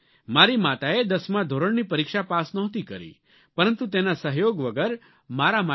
મારી માતાએ દસમા ધોરણની પરીક્ષા પાસ નહોતી કરી પરંતુ તેના સહયોગ વગર મારા માટે સી